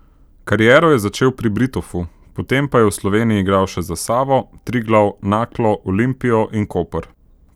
Kariero je začel pri Britofu, potem pa je v Sloveniji igral še za Savo, Triglav, Naklo, Olimpijo in Koper.